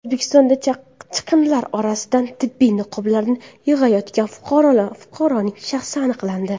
O‘zbekistonda chiqindilar orasidan tibbiy niqoblarni yig‘ayotgan fuqaroning shaxsi aniqlandi.